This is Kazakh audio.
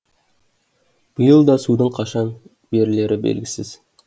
биыл да судың қашан берілері белгісіз